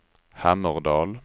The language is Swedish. Hammerdal